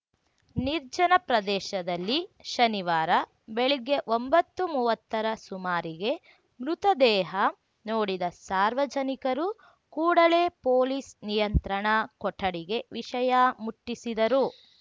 ನಿರ್ಜನ ಪ್ರದೇಶದಲ್ಲಿ ಶನಿವಾರ ಬೆಳಗ್ಗೆ ಒಂಬತ್ತುಮೂವತ್ತ ರ ಸುಮಾರಿಗೆ ಮೃತದೇಹ ನೋಡಿದ ಸಾರ್ವಜನಿಕರು ಕೂಡಲೇ ಪೊಲೀಸ್‌ ನಿಯಂತ್ರಣ ಕೊಠಡಿಗೆ ವಿಷಯ ಮುಟ್ಟಿಸಿದರು